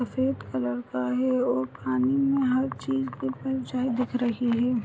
सफ़ेद कलर का है और पानी में हर चीज़ की परछाई दिख रही है।